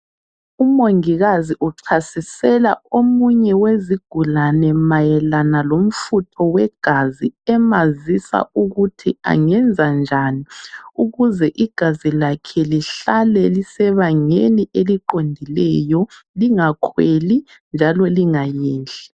Umongikazi uchasisela omunye wezigulane mayelana lomfutho wegazi emazisa ukuthi angenza njani ukuze igazi lakhe lihlale lisebangeni eliqondileyo lingakhweli njalo lingayehli.